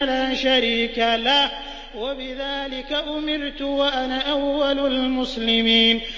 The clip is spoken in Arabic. لَا شَرِيكَ لَهُ ۖ وَبِذَٰلِكَ أُمِرْتُ وَأَنَا أَوَّلُ الْمُسْلِمِينَ